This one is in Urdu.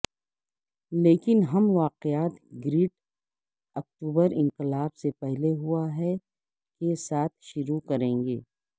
لیکن ہم واقعات گریٹ اکتوبر انقلاب سے پہلے ہوا ہے کے ساتھ شروع کریں گے